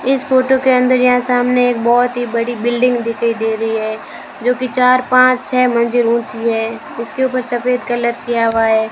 इस फोटो के अंदर यहां सामने एक बहोत ही बड़ी बिल्डिंग दिखाई दे रही है जोकि चार पांच छे मंजिल ऊंची है इसके ऊपर सफेद कलर किया हुआ है।